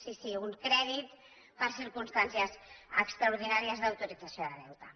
sí sí un crèdit per a circumstàncies extraordinàries d’autorització de deute